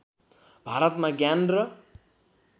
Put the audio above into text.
भारतमा ज्ञान र